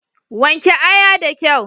Wanke aya da kyau.